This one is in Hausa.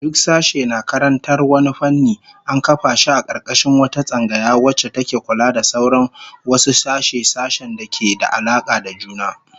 Duk sashe na karantar wani fanni, an kafa shi a karkashin wata tsangaya wacce take kula da sauran wasu sashe-sashen da ke da alaka da juna